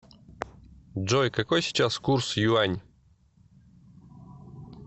джой какой сейчас курс юань